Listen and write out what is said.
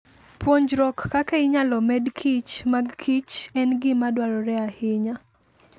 Puonjruok kaka inyalo med kichmag kichen gima dwarore ahinya.